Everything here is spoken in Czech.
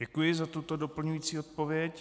Děkuji za tuto doplňující odpověď.